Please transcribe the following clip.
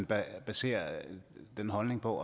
baserer den holdning på